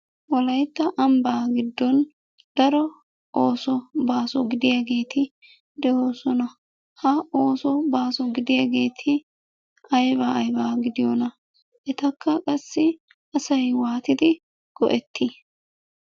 Wolaytta ambbaa giddon daro ooso baaso gidiyageeti de'oosona. Ha ooso baaso gidiyageeti aybaa aybaa gidiyonaa? Etakka qassi asay waatidi go'ettii?